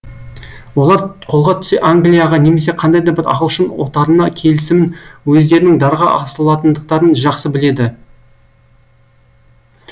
олар қолға түссе англияға немесе қандай да бір ағылшын отарына келісімен өздерінің дарға асылатындықтарын жақсы біледі